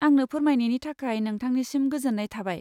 आंनो फोरमायनायनि थाखाय नोंथांनिसिम गोजोन्नाय थाबाय।